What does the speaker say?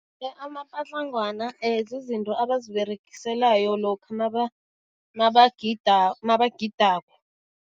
Amapatlangwana zizinto abaziberegiselayo lokha mabagidako.